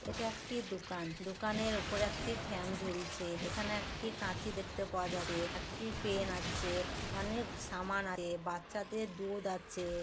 এটা একটি দোকান দোকানের উপরে একটি ফ্যান ঝুলছে এখানে একটি কাঁচি দেখতে পাওয়া যাচ্ছে একটি পেন আছে-এ অনেক সামান আছে-এ বাচ্চাদের দুধ আছে-এ।